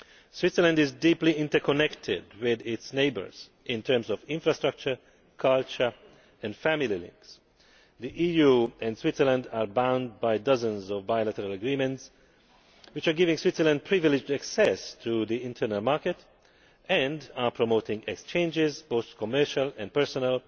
Switzerland is deeply interconnected with its neighbours in terms of infrastructure, culture and family links. The EU and Switzerland are bound by dozens of bilateral agreements which give Switzerland privileged access to the internal market and promote exchanges, both commercial and personal,